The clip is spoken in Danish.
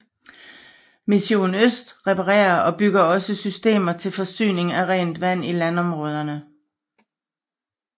Misson Øst reparerer og bygger også systemer til forsyning af rent vand i landområderne